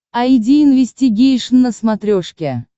айди инвестигейшн на смотрешке